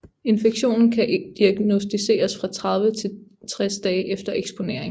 Infektionen kan diagnosticeres fra 30 til 60 dage efter eksponering